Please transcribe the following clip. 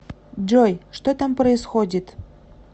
джой что там происходит